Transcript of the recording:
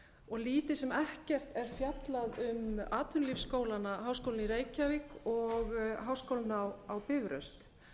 og lítið sem ekkert er fjallað um atvinnulífsskólana háskólann í reykjavík og háskólann á bifröst